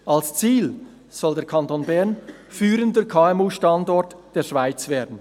Als Ziel soll der Kanton Bern führender KMU-Standort der Schweiz werden.